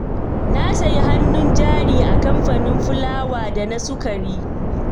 Na sayi hannun jari a kamfanin fulawa da na sukari.